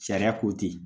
Sariya ko ten